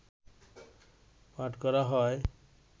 পাঠ করা হয়